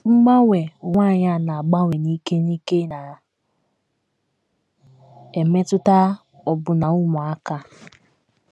Mgbanwe ụwa anyị a na - agbanwe n’ike n’ike na - emetụta ọbụna ụmụaka.